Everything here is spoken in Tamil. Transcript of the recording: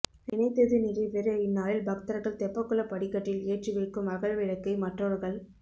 நினைத்தது நிறைவேற இந்நாளில் பக்தர்கள் தெப்பக்குளப் படிக்கட்டில் ஏற்றி வைக்கும் அகல் விளக்கை மற்றவர்கள்